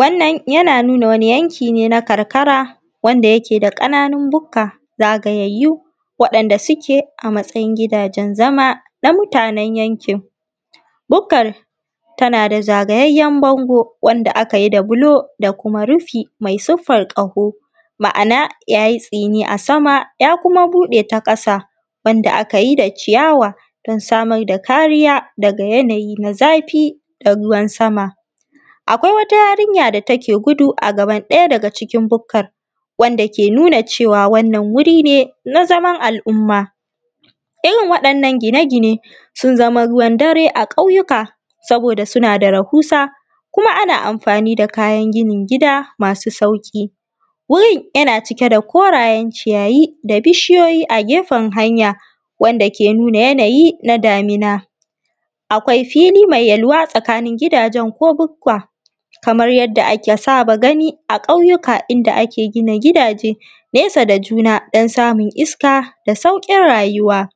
Wannan yana nunaa wani yanki ne na karkara wanda yake da ƙananun bukka zagayayyu, waɗanda suke a matsayin gidajen zama na mutanen yankin. Bukkar tana da zagayayyen bango wanda aka yi da buloo da kuma rufii mai siffar ƙaho, ma’ana ya yi tsiinii a sama ya kuma buɗe ta ƙasa, wanda aka yi da iyawa don samar da kariyaa daga yanayi na zafii da ruwan sama. Akwai wata yarinya da take gudu a gaban ɗaya daga cikin bukkar, wanda ke nunaa cewa wannan wuri ne na zaman al’umma. Irin waɗannan gine-gine sun zama ruwan-dare a ƙauyuka, saboodaa suna da rahuusa kuma ana amfani da kayan ginin gida masuu sauƙi. Wurin yana cike da korayen ciyayi da bishiyoyi a gefen hanya, wanda ke nunaa yanayi na damina. Akwai filii mai yalwa tsakanin gidajen ko bukkuwa, kamar yadda aka saba gani a ƙauyuka inda ake gina gidaje nesa da juna don samun iska da sauƙin rayuwa.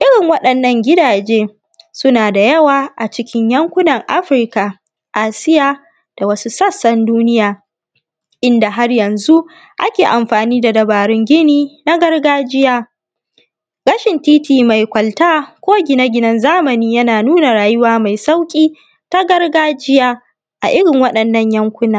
Irin waɗannan gidaje suna da yawa a cikin yankunan Afirka, Asiya da wasu sassan duniya, inda har yanzu ake amfanii da dabarun gini na gargajiya. Rashin tiiti mai kwalta ko gine-ginen zamani yana nuna rayuwa mai sauƙi ta gargajiya a irin waɗannan yankuna.